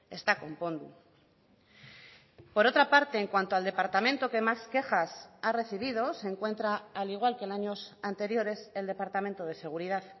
ez da konpondu por otra parte en cuanto al departamento que más quejas ha recibido se encuentra al igual que en años anteriores el departamento de seguridad